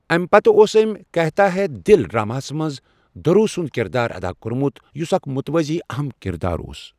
اَمہ پتہٕ اوس أمۍ 'کہتا ہے دل' ڈرٛاماہَس منٛز دھرو سُنٛد کِردار ادا کوٚرمُت، یُس اکھ متوازی اہم كِردار اوس ۔